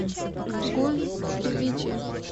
гулькевичи